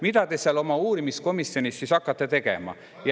Mida te seal oma uurimiskomisjonis hakkate tegema?